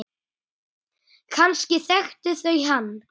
Kannski þekktu þau hann.